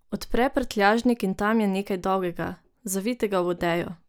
Odpre prtljažnik in tam je nekaj dolgega, zavitega v odejo.